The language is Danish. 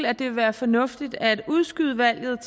at det vil være fornuftigt at udskyde valget